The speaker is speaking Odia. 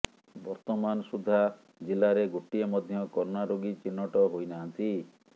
ବର୍ତ୍ତମାନ ସୁଦ୍ଧା ଜିଲ୍ଲାରେ ଗୋଟିଏ ମଧ୍ୟ କରୋନା ରୋଗୀ ଚିହ୍ନଟ ହୋଇନାହାଁନ୍ତି